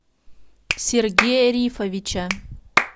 сергея рифовича